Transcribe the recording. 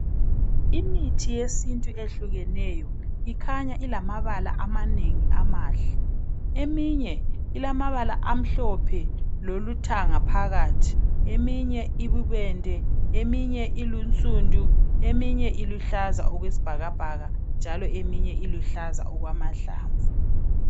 Imithi yesintu eyehlukeneyo ikhanya ilamabala amanengi amahle eminye ilamabala amhlophe lethanga phakathi iminye ububende eminye eyinsundu eminye iluhlaza okwesibhakabhaka njalo eminye iluhlaza okwamahlamvu